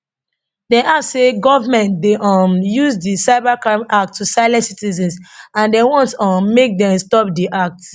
dem add say di govment dey um use di cybercrime act to silence citizens and dem want um make dem stop di act